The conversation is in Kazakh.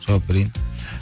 жауап берейін